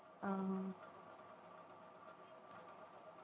ஆஹ்